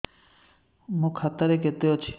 ମୋ ଖାତା ରେ କେତେ ଅଛି